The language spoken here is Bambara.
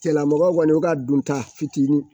Cɛn la mɔgɔw kɔni u ka dunta fitini